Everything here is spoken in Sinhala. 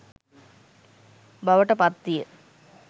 බවට පත් විය.